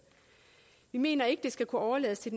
vi mener ikke at det skal kunne overlades til